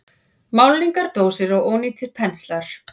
Málningardósir og ónýtir penslar.